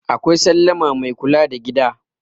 akwai sallama Mai kula da gida